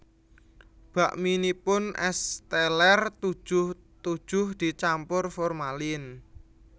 Bakminipun Es Teller tujuh tujuh dicampur formalin